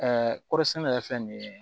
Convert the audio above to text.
kɔɔri sɛnɛ yɛrɛ fɛn nin ye